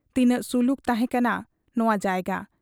ᱛᱤᱱᱟᱹᱜ ᱥᱩᱞᱩᱠ ᱛᱟᱦᱮᱸ ᱠᱟᱱᱟ ᱱᱚᱶᱟ ᱡᱟᱭᱜᱟ ᱾